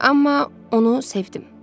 Amma onu sevdim.